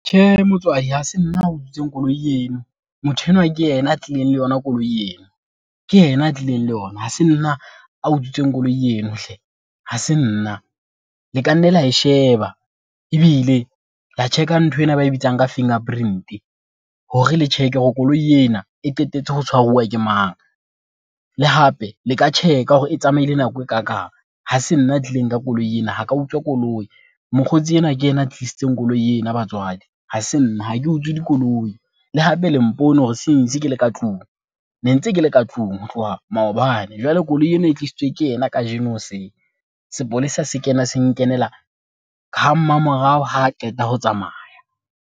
Tjhe, motswadi hase nna utswitsweng koloi eno, motho enwa ke yena a tlileng le yona koloi ena. Ke yena a tlileng le yona. Ha se nna a utswitsweng koloi eno hle, ha se nna. Le ka nne la e sheba ebile la check-a ntho ena ba e bitsang ka fingerprint-e hore le check-e hore koloi ena e qetetse ho tshwaruwa ke mang? Le hape le ka tjheka hore e tsamaile nako e kakang. Ha se nna a tlileng ka koloi ena, ha ka utswa koloi. Mokgotsi enwa ke ena a tlisitseng koloi ena batswadi, ha se nna. Ha ke utswe dikoloi le hape le mpone hore since ke le ka tlung. Ne ntse ke le ka tlung ho tloha maobane, jwale koloi ena e tlisitswe ke yena kajeno hoseng. Sepolesa se kena se nkenela ha mmamorao ha qeta ho tsamaya.